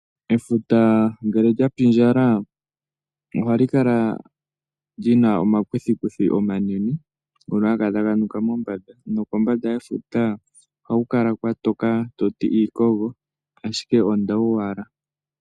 Efuta ngele lyapindjala oha li kala li na omakuthikuthi omanene ngono haga kala taga nuka mombanda, nokombanda yefuta ohaku kala kwatoka toti iikogo ashike ondawu owala.